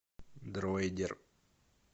дроидер